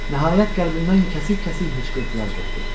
Nəhayət qəlbimdən kəsik-kəsik hıçqırtılar qopdu.